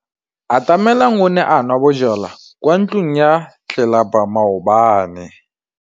Atamelang o ne a nwa bojwala kwa ntlong ya tlelapa maobane.